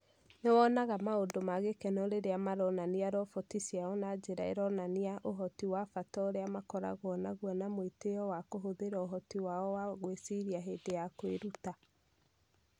Nĩ wonaga maũndũ ma gĩkeno rĩrĩa maronania roboti ciao na njĩra ironania ũhoti wa bata ũrĩa makoragwo naguo na mwĩtĩo wa kũhũthĩra ũhoti wao wa gwĩciria hĩndĩ ya kwĩruta